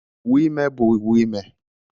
Uwe ime bụ uwe ime.